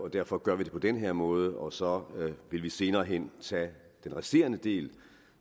derfor gør vi det på den her måde og så vil vi senere hen tage den resterende del